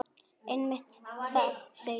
Einmitt það, segi ég.